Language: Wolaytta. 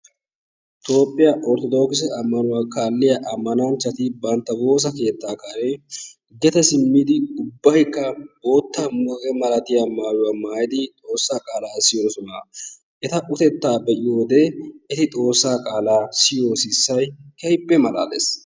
Toophiyaa orttodokisse ammanuwaa kaaliya ammananchchati bantta woossa keetta karen gede simmidi ubbaykka bootta muqaqee malatiyaa maayyuwaa maaytidi xoossa qaala siyoosona. Eta utteta be'iyoode eti xoossa qaala siyiyo sissay keehippe malalees.